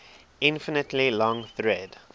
infinitely long thread